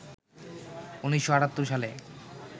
১৯৭৮ সালে